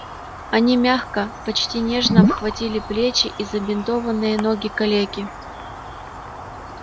они мягко почти нежно обхватили плечи и забинтованные ноги калеки